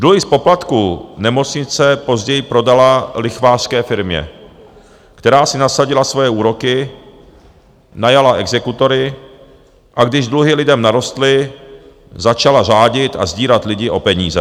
Dluhy z poplatků nemocnice později prodala lichvářské firmě, která si nasadila svoje úroky, najala exekutory, a když dluhy lidem narostly, začala řádit a sdírat lidi o peníze.